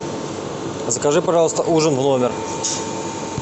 закажи пожалуйста ужин в номер